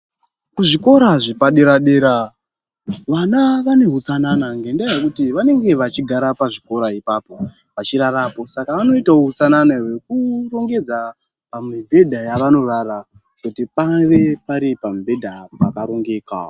Kuzvikora zvepadera dera vana vane utsanana ngendaa yekuti vanenge vachigara pazvikora ipapo vachirarapo saka vanoitawo hutsanana hwekurongedza pamibhedha yavanorara kuti pave pari pamibhedha pakarongeka.